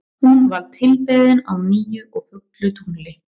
Hún var tilbeðin á nýju og fullu tungli.